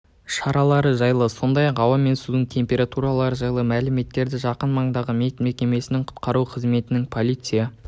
шаралары жайлы сондай-ақ ауа мен судың температуралары жайлы мәліметтері жақын маңдағы медмекемесінің құтқару қызметінің полиция